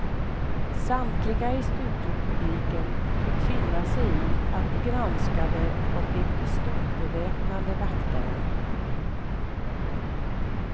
Samtliga i studiopubliken fick finna sig i att bli granskade av de pistolbeväpnade vakterna.